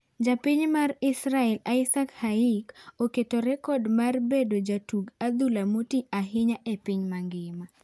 Japiny mar Israel Isaak Hayik oketo rekod mar bedo jatug adhula motii ahinya epiny mangima.